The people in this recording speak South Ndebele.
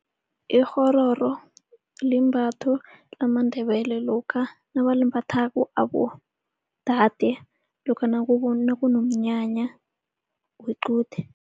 Ikghororo limbatho lamaNdebele lokha nabalimbathako abodade lokha nakunomnyanya wequde.